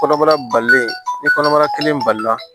Kɔnɔbara balilen ni kɔnɔbara kelen balila